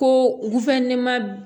Ko